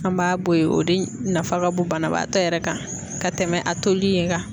An b'a bɔ yen o de nafa ka bon banabaatɔ yɛrɛ kan ka tɛmɛ a toli in kan.